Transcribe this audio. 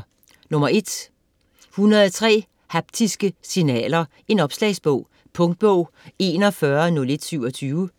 103 haptiske signaler: en opslagsbog Punktbog 410127